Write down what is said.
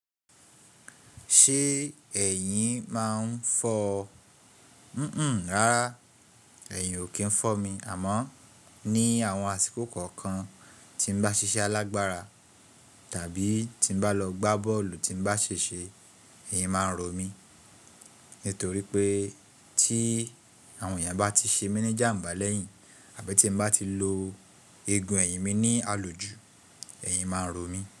Ṣé ẹ̀yìn máa ń fọ? Hunhun rárá ẹ̀yìn ò kí ń fọ́ mi, àmọ́ ní àwọn àsìkò kọ̀ọ̀kan tí mo bá ṣiṣẹ́ alágbára tàbí tí mo bá lọ gbá bọ́ọ̀lù tí n bá seṣe, ẹ̀yìn máa ń rọ mi. Nítorí pé tí àwọn èèyàn bá ti ṣe mí ní jàmba lẹ́yìn àbí tí n bá ti lo egun ẹ̀yìn mi ní alojú, ẹ̀yìn máa ń rọ mí.